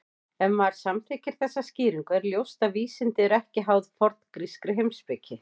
Ef maður samþykkir þessa skýringu er ljóst að vísindi eru ekki háð forngrískri heimspeki.